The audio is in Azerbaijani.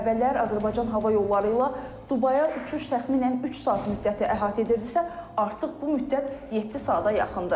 Əvvəllər Azərbaycan Hava Yolları ilə Dubaya uçuş təxminən üç saat müddəti əhatə edirdisə, artıq bu müddət yeddi saata yaxındır.